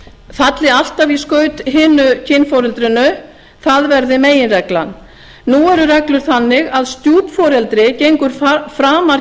falli alltaf í skaut hinu kynforeldrinu það verði meginreglan nú eru reglur þannig að stjúpforeldri gengur framar